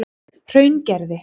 Hraungerði